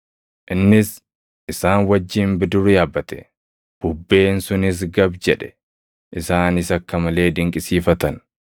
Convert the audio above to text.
Innis isaan wajjin bidiruu yaabbate; bubbeen sunis gab jedhe. Isaanis akka malee dinqisiifatan;